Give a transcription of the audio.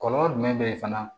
Kɔlɔlɔ jumɛn be ye fana